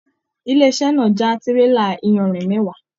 Ilé-iṣẹ̀ náà já tírélà iyanrìn mẹwa.